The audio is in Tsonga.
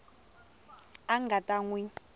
a a nga ta swi